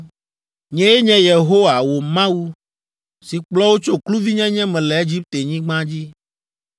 “Nyee nye Yehowa, wò Mawu, si kplɔ wò tso kluvinyenye me le Egiptenyigba dzi.